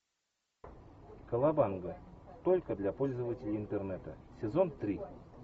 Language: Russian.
колобанга только для пользователей интернета сезон три